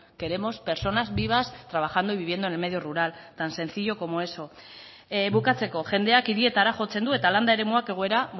queremos personas vivas trabajando y viviendo en el medio rural tan sencillo como eso bukatzeko jendeak hirietara jotzen du eta landa eremuak egoera